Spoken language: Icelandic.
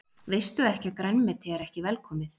Veistu ekki að grænmeti er ekki velkomið?